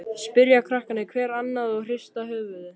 spyrja krakkarnir hver annan og hrista höfuðið.